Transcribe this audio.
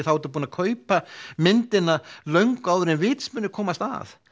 þá ertu búinn að kaupa myndmálið löngu áður en vitsmunirnir komast að